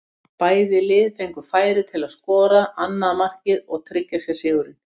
Bæði lið fengu færi til að skora annað markið og tryggja sér sigurinn.